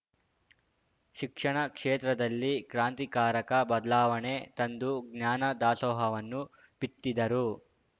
ಶಿಕ್ಷಣ ಕ್ಷೇತ್ರದಲ್ಲಿ ಕ್ರಾಂತಿಕಾರಕ ಬದ್ಲಾವಣೆ ತಂದು ಜ್ಞಾನ ದಾಸೋಹವನ್ನು ಬಿತ್ತಿದರು